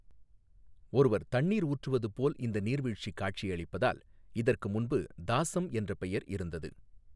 ஒருவர் தண்ணீர் ஊற்றுவது போல் இந்த நீர்வீழ்ச்சி காட்சியளிப்பதால் இதற்கு முன்பு தாசம் என்ற பெயர் இருந்தது.